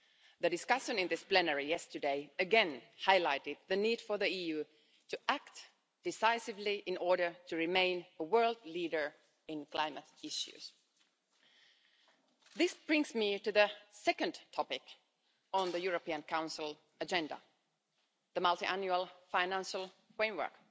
The discussion in this plenary yesterday again highlighted the need for the EU to act decisively in order to remain a world leader in climate issues. This brings me to the second topic on the European Council agenda the multiannual financial framework